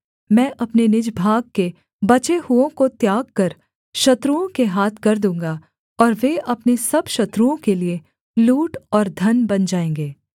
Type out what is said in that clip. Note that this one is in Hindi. मैं अपने निज भाग के बचे हुओं को त्याग कर शत्रुओं के हाथ कर दूँगा और वे अपने सब शत्रुओं के लिए लूट और धन बन जाएँगे